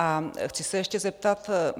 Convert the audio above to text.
A chci se ještě zeptat.